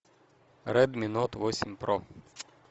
ред ми нот восемь про